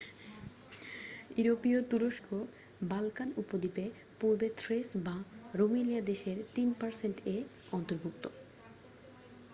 ইউরোপীয় তুরস্ক বাল্কান উপদ্বীপে পূর্ব থ্রেস বা রুমেলিয়া দেশের 3% এ অন্তর্ভুক্ত।